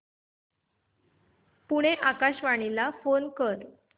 पुणे आकाशवाणीला फोन कर